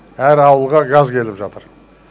әр ауылға газ келіп жатыр